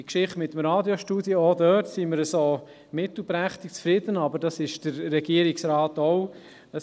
bei der Geschichte mit dem Radiostudio sind wir auch mittelprächtig zufrieden, aber auch der Regierungsrat ist es.